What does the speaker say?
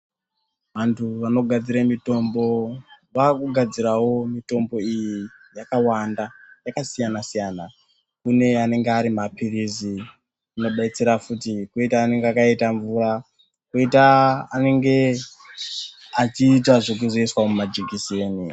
Andu anogadzira mutombo vakugadirawo mitombo iyi yakawanda yakasiyana siyana kune anange ari mapirisi anobetsera futi koita anenge akaita mvura koita anenge achizoitwa zvekuzoiswa mukati memvura